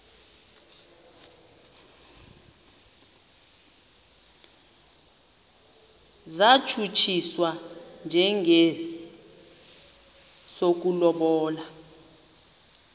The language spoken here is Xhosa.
satshutshiswa njengesi sokulobola